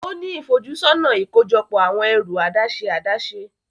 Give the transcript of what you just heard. O ni ifojusọna ikojọpọ awọn ẹru adaṣe adaṣe.